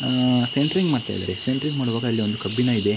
ಆಹ್ಹ್ centring ಮಾಡ್ತಾ ಇದ್ರಿ centring ಮಾಡೋವಾಗ ಅಲ್ಲಿ ಒಂದು ಕಬ್ಬಿಣ ಇದೆ.